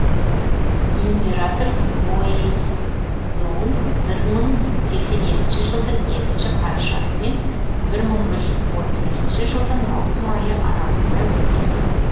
император хуэй цзун бір мың сексен екінші жылдың екінші қарашасы мен бір мың бір жүз отыз бесінші жылдың маусым айы аралығында өмір сүрген